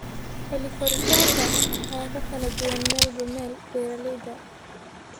Xilli-koritaanka ayaa ku kala duwan meelba meel. Beeralayda